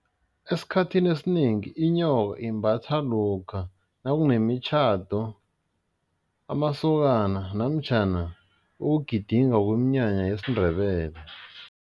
Esikhathini esinengi inyoka imbathwa lokha nakunemitjhado, amasokana namtjhana ukugidinga kweminyanya yesiNdebele.